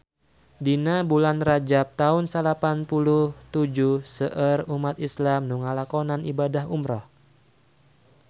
Dina bulan Rajab taun salapan puluh tujuh seueur umat islam nu ngalakonan ibadah umrah